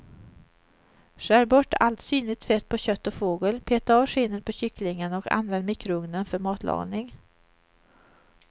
Skär bort allt synligt fett på kött och fågel, peta av skinnet på kycklingen och använd mikrougnen för matlagning.